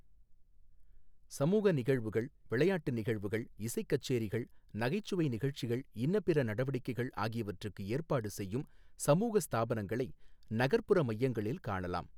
சமூக நிகழ்வுகள், விளையாட்டு நிகழ்வுகள், இசைக் கச்சேரிகள், நகைச்சுவை நிகழ்ச்சிகள், இன்னபிற நடவடிக்கைகள் ஆகியவற்றுக்கு ஏற்பாடு செய்யும் சமூக ஸ்தாபனங்களை நகர்ப்புற மையங்களில் காணலாம்.